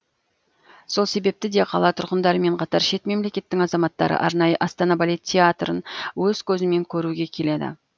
сол себепті де қала тұрғындарымен қатар шет мемлекеттің азаматтары арнайы астана балет театрын өз көзімен көруге келеді